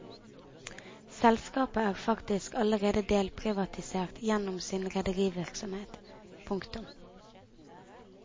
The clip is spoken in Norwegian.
Selskapet er faktisk allerede delprivatisert gjennom sin rederivirksomhet. punktum